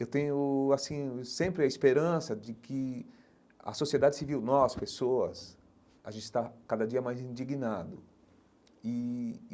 Eu tenho assim sempre a esperança de que a sociedade civil, nós, pessoas, a gente está cada dia mais indignado e.